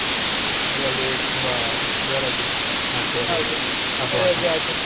ಅಂದ್ರೆ ಅಲ್ಲಿ ತುಂಬಾ ಜೋರಾಗಿ ಮಾಡ್ತೀರ ?